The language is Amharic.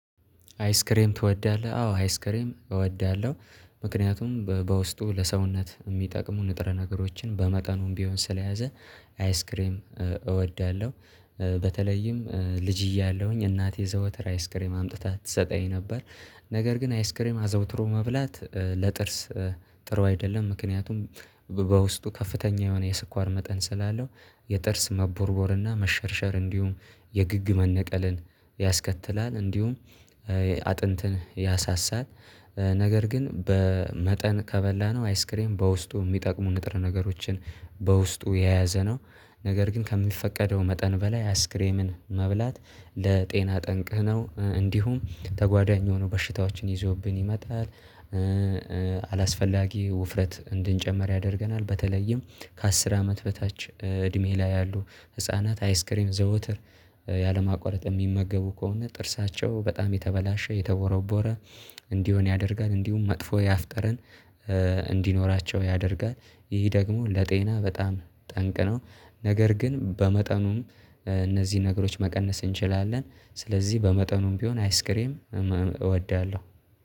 አይስክሬም ትወዳለህ? አዎ አይስክሬም እወዳለሁ ምክንያቱም በውስጡ ለሰውነት የሚጠቅሙ ንጥረ ነገሮችን በመጠኑም ቢሆን ስለያዘ አይስክሬም እወዳለሁ። በተለይም ልጅ እያለሁኝ እናቴ ዘወትር አይስክሬም አምጥታ ትሰጠኝ ነበር። ነገር ግን አይስክሬም አዘውትሮ መብላት ለጥርስ ጥሩ አይደለም ምክንያቱም በውስጡ ከፍተኛ የሆነ የስኳር መጠን ስላለው። የጥርስ መቦርቦርና መሸርሸር እንዲሁም የግግ መነቀልን ያስከትላል እንዲሁም አጥንትን ያሳሳል። ነገር ግን በመጠን ከበላነው አይስክሬም በውስጡ የሚጠቅሙ ንጥር ነገሮችን በውስጡ የያዘ ነው። ነገር ግን ከሚፈቀደው መጠን በላይ አይስክሬምን መብላት ለጤና ጠንቅህ ነው እንዲሁም ተጓዳኝ ሆኖ በሽታዎችን ይዞብን ይመጣል። አላስፈላጊ ውፍረት እንድንጨምር ያደርገናል። በተለይም ከአስር አመት በታች እድሜ ላይ ያሉ ህፃናት አይስክሬም ዘወትር ያለማቋረጥ የሚመገቡ ከሆነ ጥርሳቸው በጣም የተበላሸ የተቦረቦረ እንዲሆን ያደርጋል እንዲሁም መጥፎ ያፍጠረን እንዲኖራቸው ያደርጋል። ይህ ደግሞ ለጤና በጣም ጠንቅ ነው። ነገር ግን በመጠኑም እነዚህ ነገሮች መቀነስ እንችላለን ስለዚህ በመጠኑም ቢሆን አይስክሬም እወዳለሁ።